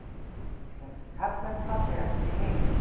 Íslenskir karlmenn fallegastir í heimi